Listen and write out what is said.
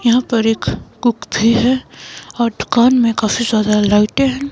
यहां पर एक कुक भी है और दुकान में काफी ज्यादा लाइटें हैं।